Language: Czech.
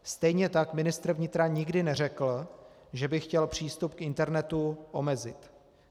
Stejně tak ministr vnitra nikdy neřekl, že by chtěl přístup k internetu omezit.